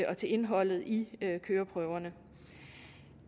og til indholdet i køreprøverne